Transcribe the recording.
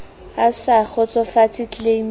a sa kgotsofatse tleleime ya